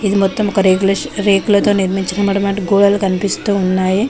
ఇది మొత్తం ఒక రేకుల రేకులతో నిర్మించాబడిన గోడలు కనిపిస్తూ ఉన్నాయి.